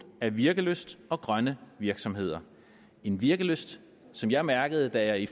af virkelyst og grønne virksomheder en virkelyst som jeg mærkede da jeg i